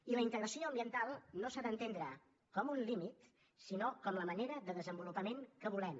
i la integració ambiental no s’ha d’entendre com un límit sinó com la manera de desenvolupament que volem